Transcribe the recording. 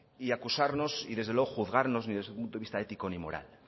y acusarnos y desde luego juzgarnos desde el punto de vista ético ni moral